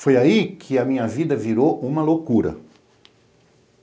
Foi aí que a minha vida virou uma loucura.